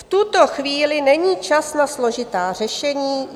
V tuto chvíli není čas na složitá řešení.